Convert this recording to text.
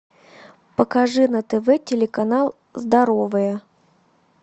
покажи на тв телеканал здоровое